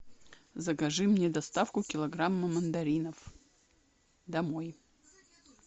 закажи мне доставку килограмма мандаринов домой